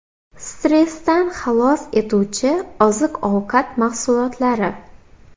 Stressdan xalos etuvchi oziq-ovqat mahsulotlari.